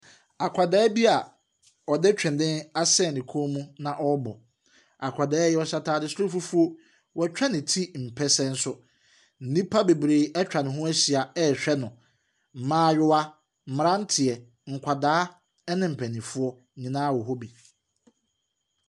Akadaa bi a ɔde twene asɛn ne kɔn mu na ɔrebɔ. Akwadaa yi ɔhyɛ ataade soro fufuo. Watwa ne ti mpɛsɛ nso. Nnipa bebree atwa ne ho ahyia rehwɛ no. mmaayewa, mmranteɛ, nkwadaa ne mpanimfoɔ nyinaa wɔ hɔ bi.